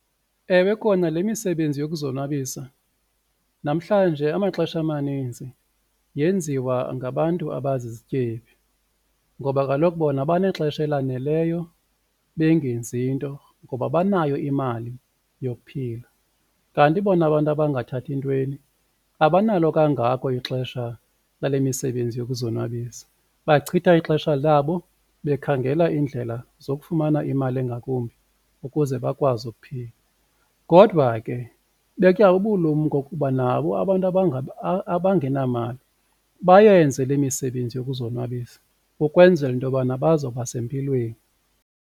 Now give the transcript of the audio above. Ewe, kona le misebenzi yokuzonwabisa namhlanje amaxesha amaninzi yenziwa ngabantu abazizityebi ngoba kaloku bona banexesha elaneleyo bengenzi nto ngoba banayo imali yokuphila, kanti bona abantu abangathathi ntweni abanalo kangako ixesha lale misebenzi yokuzonwabisa. Bachitha ixesha labo bekhangela iindlela zokufumana imali engakumbi ukuze bakwazi ukuphila. Kodwa ke betya ubulumko kuba nabo abantu abangenamali bayenze le misebenzi yokuzonwabisa ukwenzela into yobana bazawuba sempilweni.